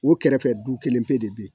O kɛrɛfɛ du kelen pe de be yen